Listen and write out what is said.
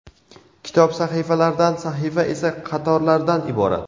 Kitob sahifalardan, sahifa esa qatorlardan iborat.